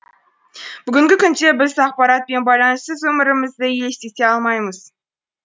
бүгінгі күнде біз ақпарат пен байланыссыз өмірі мізді елестете алмаймыз